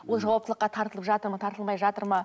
ол жауаптылыққа тартылып жатыр ма тартылмай жатыр ма